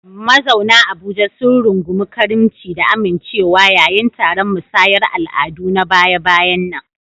Mazauna Abuja sun rungumi karimci da amincewa yayin taron musayar al'adu na baya-bayan nan.